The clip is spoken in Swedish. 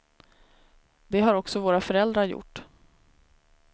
Det har också våra föräldrar gjort.